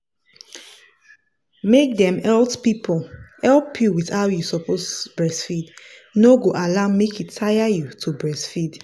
make dem health people help you with how you suppose breastfeed no go allow make e tire you to breastfeed.